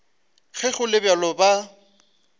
ge go le bjalo ba